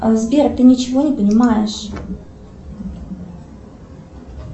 сбер ты ничего не понимаешь